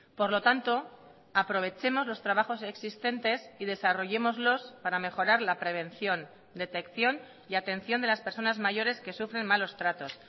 por lo tanto aprovechemos los trabajos existentes y desarrollémoslos para mejorar la prevención detección y atención de las personas mayores que sufren malos tratos